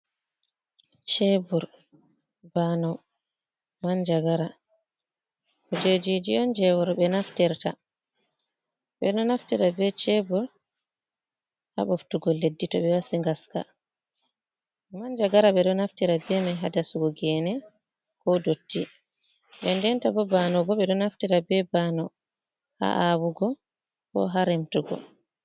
Shebur, baanau, manja-gara, kuje jiji je worɓe naftirta. Bedo naftira ɓe shebur ha ɓoftugo leddi to ɓe wasi ngaska, manja-gara ɓe do naftira be mai ha dasugo gene, ko dotti, nden denta bo bano bo ɓe ɗo naftira ɓe bano ha awugo, ko ha remtugo.